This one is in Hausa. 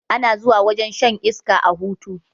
Ana zuwa wajen shan iska a hutu